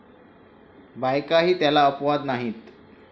बायकाही त्याला अपवाद नाहीत.